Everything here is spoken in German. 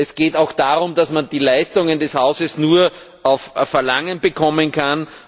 Es geht auch darum, dass man die Leistungen des Hauses nur auf Verlangen bekommen kann.